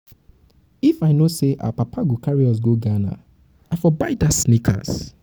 if um i know say our papa go carry us go ghana i for buy dat sneakers um